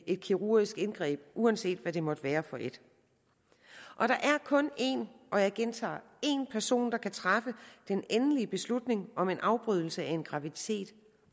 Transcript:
et kirurgisk indgreb uanset hvad det måtte være for et og der er kun en og jeg gentager en person der kan træffe den endelige beslutning om afbrydelse af en graviditet